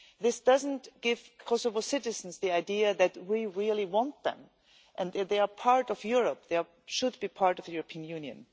This does not give Kosovo citizens the idea that we really want them and that they are part of Europe they should be part of the European Union.